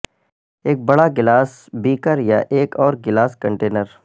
ایک بڑا glass beaker یا ایک اور گلاس کنٹینر